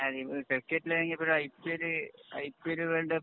ക്രിക്കറ്റില്‍ ആണെങ്കില്‍ IPL , IPL